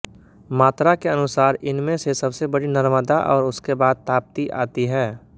मात्रा के अनुसार इनमें से सबसे बड़ी नर्मदा और उसके बाद ताप्ती आती है